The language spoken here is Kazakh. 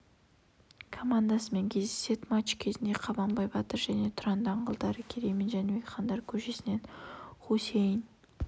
командасымен кездеседі матч кезінде қабанбай батыр және тұран даңғылдары керей мен жәнібек хандар көшесінен хусейн